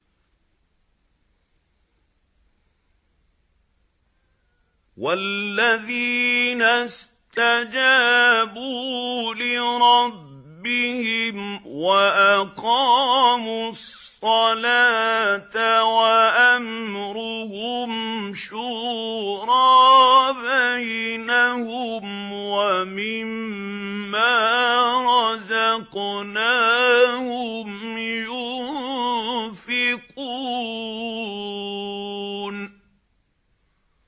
وَالَّذِينَ اسْتَجَابُوا لِرَبِّهِمْ وَأَقَامُوا الصَّلَاةَ وَأَمْرُهُمْ شُورَىٰ بَيْنَهُمْ وَمِمَّا رَزَقْنَاهُمْ يُنفِقُونَ